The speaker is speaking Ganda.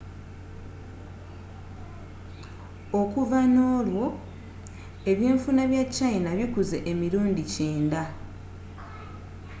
okuva n'olwo ebyenfuna bya china bikuze emirundi 90